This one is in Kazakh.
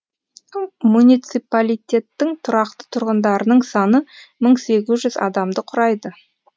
муниципалитеттің тұрақты тұрғындарының саны мың сегіз жүз адамды құрайды